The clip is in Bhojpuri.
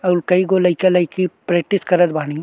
उ कईगो लईका लईकी प्रैक्टिस करत बानी।